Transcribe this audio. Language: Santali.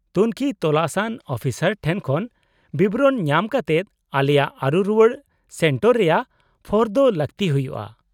-ᱛᱩᱝᱠᱷᱤ ᱛᱚᱥᱟᱱ ᱟᱱ ᱚᱯᱷᱤᱥᱟᱨ ᱴᱷᱮᱱ ᱠᱷᱚᱱ ᱵᱤᱵᱚᱨᱚᱱ ᱧᱟᱢ ᱠᱟᱛᱮᱫ ᱟᱞᱮᱭᱟᱜ ᱟᱹᱨᱩ ᱨᱩᱣᱟᱹᱲ ᱥᱮᱱᱴᱟᱨ ᱨᱮᱭᱟᱜ ᱯᱷᱚᱨᱫᱚ ᱞᱟᱹᱠᱛᱤ ᱦᱩᱭᱩᱜᱼᱟ ᱾